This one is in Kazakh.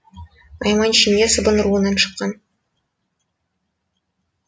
найман ішінде сыбан руынан шыққан